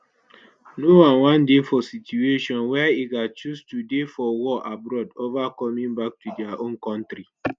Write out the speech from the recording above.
no one wan dey for situation wia e gatz choose to dey for war abroad ova coming back to dia own kontri